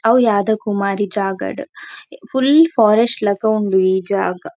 ಅವು ಯಾದಕುಮಾರಿ ಜಾಗಡ್ ಫುಲ್ ಫಾರೆಸ್ಟ್ ಲೆಕ ಉಂಡು ಈ ಜಾಗ.